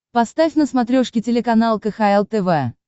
поставь на смотрешке телеканал кхл тв